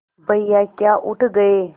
भैया क्या उठ गये